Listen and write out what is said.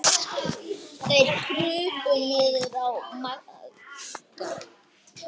Þeir krupu niður að Magga.